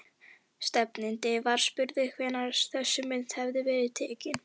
Stefnandi var spurður hvenær þessi mynd hefði verið tekin?